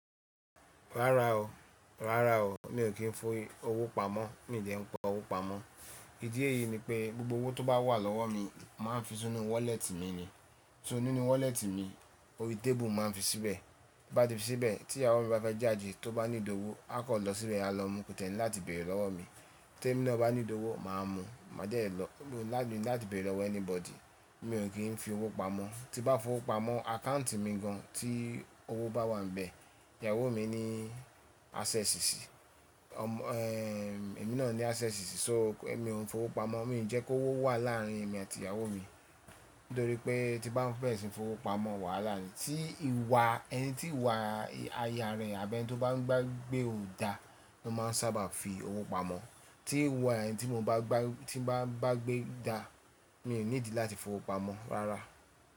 Rárá o, rárá o, mi ò kí ń fi owó pamọ́, mi ò dẹ́ ń pa owó pamọ́. Ìdí ẹ́yì ni pé gbogbo owó tó bá wà lọ́wọ́ mi máa ń fi sínú wọ́lẹ́tì mi ni. So ninú wọ́lẹ́tì mi, orí tébùù mo máa ń fi síbẹ̀. Bi n bá ti fi síbẹ̀, tí ìyàwó mi bá fẹ́ jáde tó bá need ówó, a kan lọ síbẹ̀ a lọ mu, kò ti ẹ́ ni láti béèrè lọ́wọ́ mi. Tẹ́mi náà bá need ówó, màá mu, màá dẹ́ lọ, Mi o ní láti, lati béèrè lọwọ́ anybody. Mi ò kí ń fi owó pamọ́. Tí n bá fowó pamọ́, account mi gan tí owó bá wà ń bẹ, ìyàwó mi ní access síi, ọmọ ẹ́ ẹ emí náà ní access síi, so ẹ́mi ò ń fowó pamọ́, mi ń jẹ́ kó owó wà láàrin èmi àti ìyàwó mi. Nítorí pé tí bá fẹ́ ẹ ṣi n fowó pamọ́, wàhálà ni. Tí ìwà ẹni tí ìwà aya rẹ̀ àbí ẹni tí ó bá ń ba gbé ò da, wọn máa ń sábà fi owó pamọ́. Tí ìwà ẹni tí mo bá ba gbé, tí ń ba ba gbé da, mi ò ní ìdí láti fi owó pamọ́ rárá.